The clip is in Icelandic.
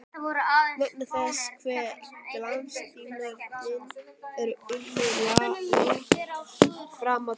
Vegna þess hve glanstímaritin eru unnin langt fram í tímann.